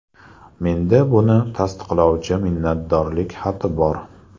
Menda buni tasdiqlovchi minnatdorlik xati bor.